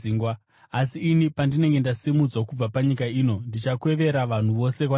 Asi ini, pandinenge ndasimudzwa kubva panyika ino, ndichakwevera vanhu vose kwandiri.”